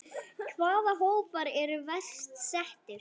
Hvaða hópar eru verst settir?